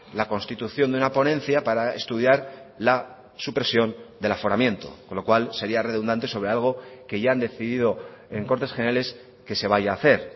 la constitución de una ponencia para estudiar la supresión del aforamiento con lo cual sería redundante sobre algo que ya han decidido en cortes generales que se vaya a hacer